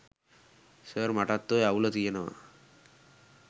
sir මටත් ඔය අවුල තියනව